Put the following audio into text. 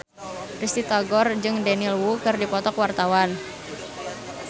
Risty Tagor jeung Daniel Wu keur dipoto ku wartawan